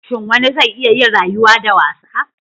Shin wani zai iya yin rayuwa da wasa?